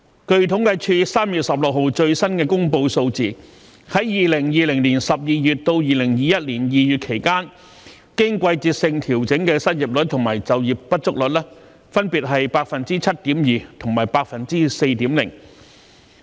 據統計處3月16日最新公布的數字，在2020年12月至2021年2月期間，經季節性調整的失業率和就業不足率分別是 7.2% 和 4.0%。